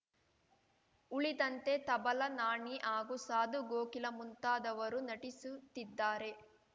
ಉಳಿದಂತೆ ತಬಲಾ ನಾಣಿ ಹಾಗೂ ಸಾಧು ಗೋಕಿಲಾ ಮುಂತಾದವರು ನಟಿಸುತ್ತಿದ್ದಾರೆ